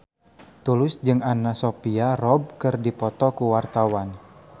Tulus jeung Anna Sophia Robb keur dipoto ku wartawan